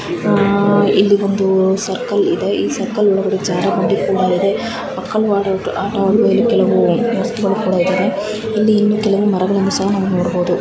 ಅಹ್ ಇಲ್ಲಿ ಒಂದು ಸರ್ಕಿಲ್ ಇದೆ ಈ ಸರ್ಕಿಲ್ ಒಳಗಡೆ ಜಾರೋ ಬಂಡಿ ಕೂಡ ಇದೆ ಪಕ್ಕದ ಆಟ ಆಡಲು ಕೆಲವು ವಸ್ತುಗಳು ಕೂಡ ಇದ್ದವೆ ಇಲ್ಲಿ ಇನ್ನೂ ಕೆಲವು ಮರಗಳನ್ನು ಸಹ ನಾವು ನೋಡಬಹುದು. .